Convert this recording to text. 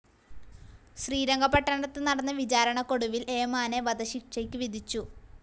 ശ്രീരംഗപട്ടണത്ത് നടന്ന വിചാരണക്കൊടുവിൽ ഏമാനെ വധശിക്ഷയ്ക്ക് വിധിച്ചു.